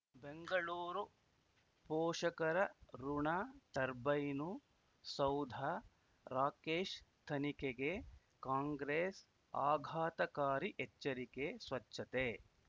ಬೆಂಗಳೂರು ಪೋಷಕರಋಣ ಟರ್ಬೈನು ಸೌಧ ರಾಕೇಶ್ ತನಿಖೆಗೆ ಕಾಂಗ್ರೆಸ್ ಆಘಾತಕಾರಿ ಎಚ್ಚರಿಕೆ ಸ್ವಚ್ಛತೆ